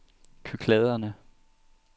Kykladerne